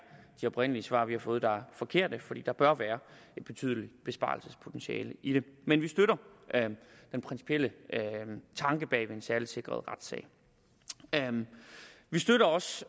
de oprindelige svar vi har fået der er forkerte for der bør være et betydeligt besparelsespotentiale i det men vi støtter den principielle tanke bag den særligt sikrede retssal vi støtter også